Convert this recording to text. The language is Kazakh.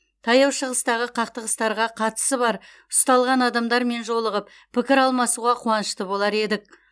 таяу шығыстағы қақтығыстарға қатысы бар ұсталған адамдармен жолығып пікір алмасуға қуанышты болар едік